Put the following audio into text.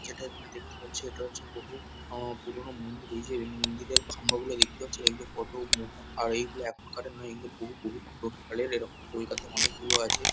যেটা এখানে দেখতে পাচ্ছি এটা হচ্ছে বহু উমম পুরোনো মন্দির। এই যে উম মন্দিরের খাম্বাগুলো দেখতে পাচ্ছি। এগুলো কত মোটা আর এইগুলো এখানকার নয় এইগুলো বহু বহু পুরোনোকালের এরকম কলকাতায় অনেকগুলো আছে।